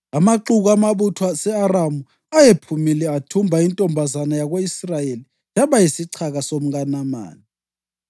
Amaxuku amabutho ase-Aramu ayephumile athumba intombazana yako-Israyeli, yaba yisichaka somkaNamani.